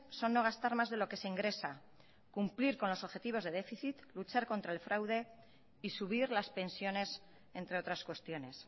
son no gastar más de lo que se ingresa cumplir con los objetivos de déficit luchar contra el fraude y subir las pensiones entre otras cuestiones